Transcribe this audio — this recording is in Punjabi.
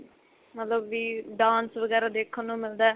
ਮਤਲਬ ਵੀ dance ਵਗੈਰਾ ਦੇਖਣ ਨੂੰ ਮਿਲਦਾ